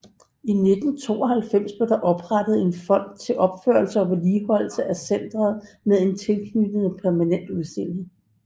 I 1992 blev der oprettet en fond til opførelse og vedligeholdelse af centret med en tilknyttet permanent udstilling